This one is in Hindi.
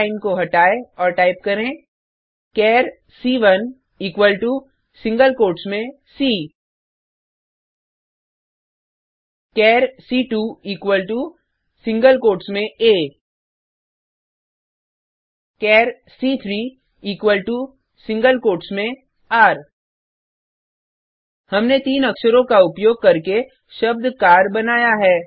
चार लाइन को हटाएँ और टाइप करें चार C one equal to single quotes में सी चार C two equal to single quotes में आ चार सी3 इक्वल टो सिंगल कोट्स में र हमने तीन अक्षरो का उपयोग करके शब्द कार बनाया है